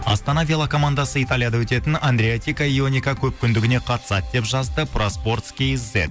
астана велокомандасы италияда өтетін көпкүндігіне қатысады деп жазды проспортс кизет